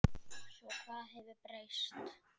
Svo hvað hefur breyst?